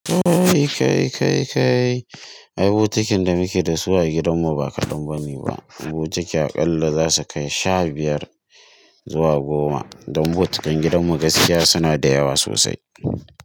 Ooo, kai kai kai, ai bokatin da muke da su a gidan mu ba kalon bani ba, bokati aƙalla za su kai sha biyar zuwa goma don botakai gidan mu gaskiya suna da yawa sosai.